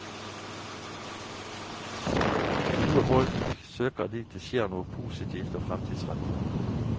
Gode folk søker dit det skjer noe positivt og fremtidsrettet.